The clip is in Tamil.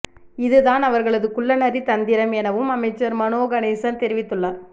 இதுதான் அவர்களது குள்ளநரி தந்திரம் எனவும் அமைச்சர் மனோ கணேசன் தெரிவித்துள்ளார்